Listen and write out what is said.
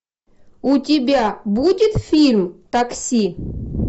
у тебя будет фильм такси